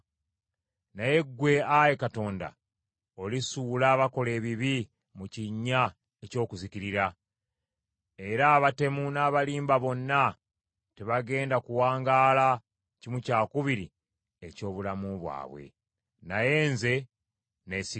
Naye ggwe, Ayi Katonda, olisuula abakola ebibi mu kinnya eky’okuzikirira; era abatemu n’abalimba bonna tebagenda kuwangaala kimu kyakubiri eky’obulamu bwabwe. Naye nze, neesiga ggwe.